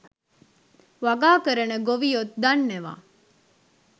වගා කරන ගොවියොත් දන්නවා.